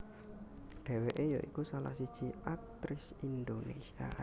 Dheweke ya iku salah siji aktris Indonésia